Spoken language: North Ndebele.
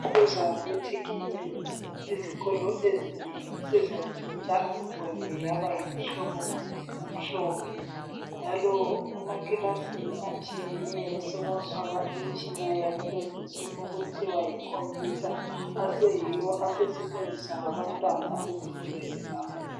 Ngokuza kwethekhinoloji izikolo ezinengi sezatshintsha umgwembe yaba ngumhlobo omhlophe njalo emakilasini atshiyeneyo sokwafakwa imitshina yakulezinsuku okuthiwa yikhomputha aseyiwo asetshenziswa ngabantwana ezifundweni zabo.